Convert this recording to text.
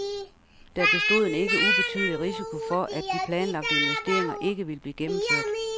Der bestod en ikke ubetydelig risiko for, at de planlagte investeringer ikke ville blive gennemført.